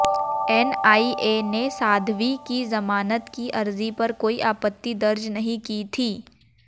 NIA ने साध्वी की जमानत की अर्जी पर कोई आपत्ति दर्ज नहीं की थी